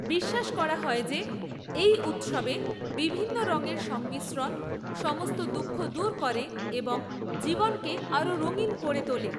বিশ্বাস করা হয় যে এই উৎসবে বিভিন্ন রঙের সংমিশ্রণ সমস্ত দুঃখ দূর করে এবং জীবনকে আরও রঙিন করে তোলে।